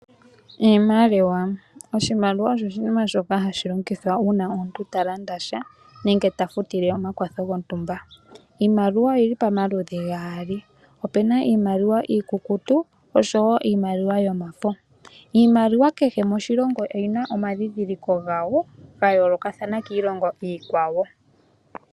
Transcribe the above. oshimaliwa osho oshinima shoka hashi longithwa uuna omuntu ta landa sha, nenge ta futile omakwatho gontumba. Iimaliwa oyi li pamaludhi gaali, opu na iimaliwa iikukutu osho wo omafo. Iimaliwa kehe moshilongo oyi na omandhindhiliko ga yoolokathana kiilongo iikwawo.